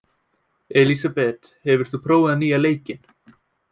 Elísabeth, hefur þú prófað nýja leikinn?